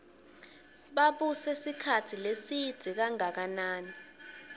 babuse sikhatsi lesidze kanganani